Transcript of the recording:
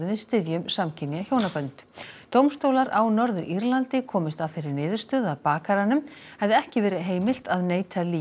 styðjum samkynja hjónabönd dómstólar á Norður Írlandi komust að þeirri niðurstöðu að bakaranum hefði ekki verið heimilt að neita